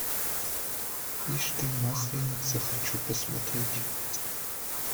ишь ты масленица хочу посмотреть